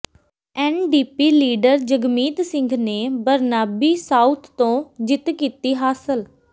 NDP leader Jagmeet Singh ਨੇ Burnaby South ਤੋਂ ਜਿੱਤ ਕੀਤੀ ਹਾਸਲ